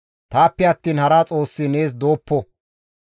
« ‹Taappe attiin hara Xoossi nees dooppo.